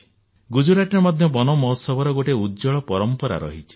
ଗୁଜରାଟରେ ମଧ୍ୟ ବନ ମହୋତ୍ସବର ଗୋଟିଏ ଉଜ୍ଜ୍ୱଳ ପରମ୍ପରା ରହିଛି